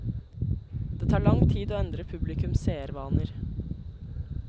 Det tar lang tid å endre publikums seervaner.